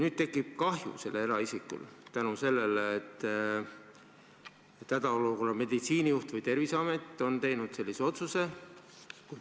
Sel eraisikul võib tekkida kahju, sest hädaolukorra meditsiinijuht või Terviseamet on teinud sellise otsuse.